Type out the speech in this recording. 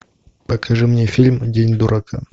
покажи мне фильм день дурака